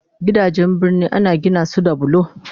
Gidajen birni Akan Gina su da bulo